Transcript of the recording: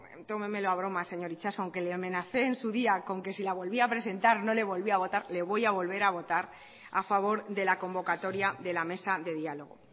tómemelo a broma señor itxaso aunque le amenacé en su día con que si la volvía a presentar no le volvía a votar le voy a volver a votar a favor de la convocatoria de la mesa de diálogo